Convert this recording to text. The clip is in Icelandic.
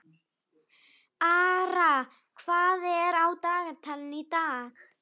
Ara, hvað er á dagatalinu í dag?